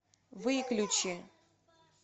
выключи